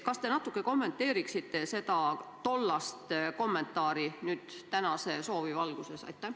Kas te natuke kommenteeriksite seda tollast kommentaari tänase soovi valguses?